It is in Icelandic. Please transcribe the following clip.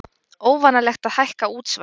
Óvanalegt að hækka útsvar